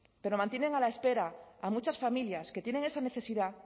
pero mantienen a la espera a muchas familias que tienen esa necesidad